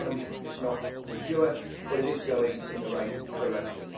The economy is not secure but it is going in the right direction.